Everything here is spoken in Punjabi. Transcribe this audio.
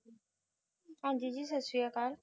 ਹਾਂਜੀ ਜੀ ਸਤਿ ਸ੍ਰੀ ਅਕਾਲ